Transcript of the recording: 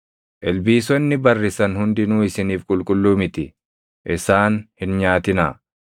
Ilbiisonni barrisan hundinuu isiniif qulqulluu miti; isaan hin nyaatinaa.